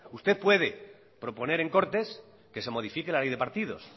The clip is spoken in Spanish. usted puede proponer en cortes que se modifique la ley de partidos